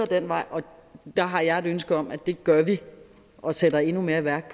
den vej og der har jeg et ønske om at det gør vi og sætter endnu mere i værk